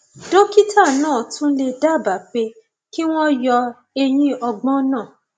dókítà náà tún lè dábàá pé kí wọn yọ eyín ọgbọn náà